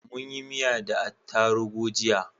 Munyi miya da atarubu jiya